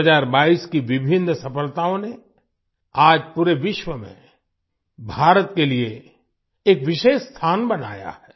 2022 की विभिन्न सफलताओं ने आज पूरे विश्व में भारत के लिए एक विशेष स्थान बनाया है